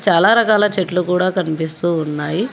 చాలా రకాల చెట్లు కూడా కనిపిస్తూ ఉన్నాయి.